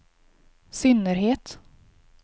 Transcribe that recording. synnerhet